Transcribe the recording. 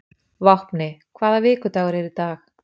Vápni, hvaða vikudagur er í dag?